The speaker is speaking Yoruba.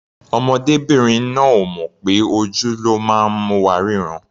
Ọmọdébìnrin náà ò mọ̀ pé ojú ló máa ń mú wa rínran.